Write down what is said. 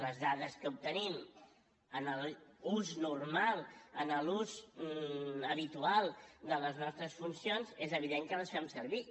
les dades que obtenim en l’ús normal en l’ús habitual de les nostres funcions és evident que les fem servir